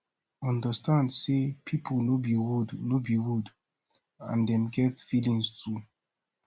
understand sey pipo no be wood no be wood and dem get feelings too